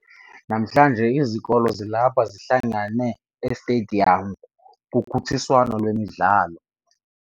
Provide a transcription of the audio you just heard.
Namhlanje izikolo zalapha zihlangene esitediyamu kukhutshiswano lwemidlalo.